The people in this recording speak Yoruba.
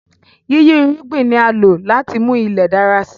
Yíyí irúgbìn ni a lò láti mú Ilẹ̀ dára si